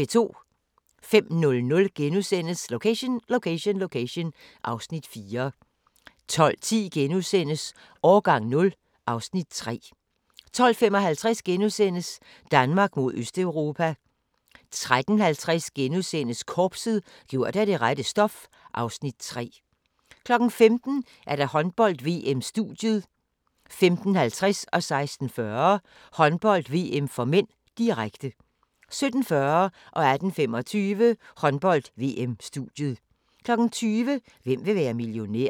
05:00: Location Location Location (Afs. 4)* 12:10: Årgang 0 (Afs. 3)* 12:55: Danmark mod Østeuropa * 13:50: Korpset – gjort af det rette stof (Afs. 3)* 15:00: Håndbold: VM - studiet 15:50: Håndbold: VM (m), direkte 16:40: Håndbold: VM (m), direkte 17:40: Håndbold: VM - studiet 18:25: Håndbold: VM - studiet 20:00: Hvem vil være millionær?